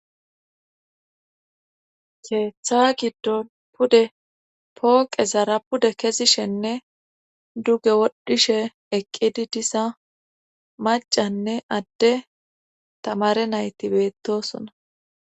keeththa giddon pude pooqezara pude kezishenne dugge wodhishe eqqidi diza macanne adde tamare nayti beettosona